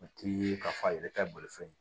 O t'i ye k'a fɔ a yɛrɛ tɛ bolifɛn